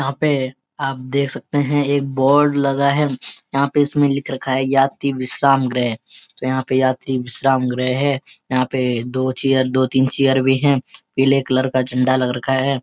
यहां पे आप देख सकते हैं एक बोर्ड लगा है। यहां पे इसमे लिख रखा है यात्री विश्रामग्रह तो यहां पे यात्री विश्रामग्रह है। यहां पे दो चेयर दो तीन चेयर भी है पीले कलर का झंडा लग रखा है।